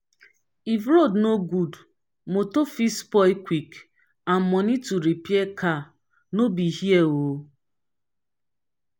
if road no good motor fit spoil quick and money to repair car no be here oo.